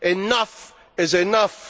Enough is enough.